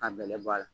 Ka bɛlɛbɔ a la